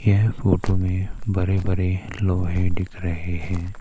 यह फोटो में बड़े बड़े लोहे दिख रहे हैं।